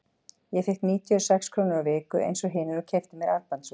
Ég fékk níutíu og sex krónur á viku eins og hinir og keypti mér armbandsúr.